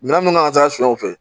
Minɛn nana ka taa suɲɛ u fɛ